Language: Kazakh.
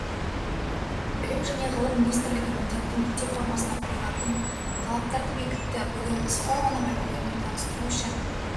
білім және ғылым министрлігі міндетті мектеп формасына қойылатын талаптарды бекітті бүгін біз форманың үлгілерімен таныстыру үшін